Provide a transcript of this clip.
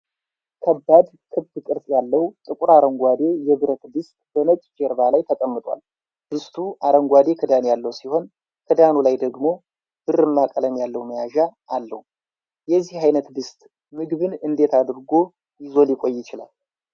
ከባድ፣ ክብ ቅርጽ ያለው፣ ጥቁር አረንጓዴ የብረት ድስት በነጭ ጀርባ ላይ ተቀምጧል። ድስቱ አረንጓዴ ክዳን ያለው ሲሆን፣ ክዳኑ ላይ ደግሞ ብርማ ቀለም ያለው መያዣ አለው። ። የዚህ አይነት ድስት ምግብን እንዴት አድርጎ ይዞ ሊቆይ ይችላል?